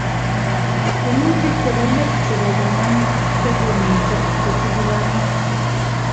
Tyiemutik chepo let chepo konam chekomiten kotibukani